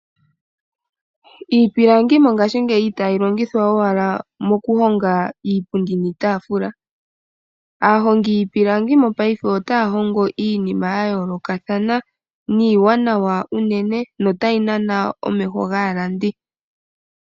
Iipilangi mongashingeyi itayi longithwa owala moku honga iipundi niitafula. Aahongi yiipilangi mopaife otaya hongo iinima yayoolokathana niiwanawa unene, yo tayi nana omeho gaalandi.